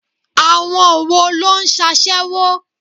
Àwọn wo ló ń sasewo?